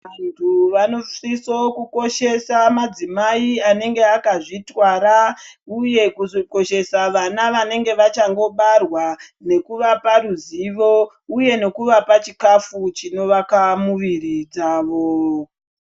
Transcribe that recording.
Vantu vanosisa kukoshesa madzimai anenge akazvitwara uye kukoshesa vana vanenge vachangobarwa nekuvapa ruzivo uye nekuvapa chikafu chinovaka muviri dzavo.